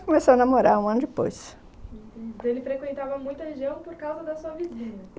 Começamos a namorar um ano depois. Então ele frequentava muita região por causa da sua vizinha?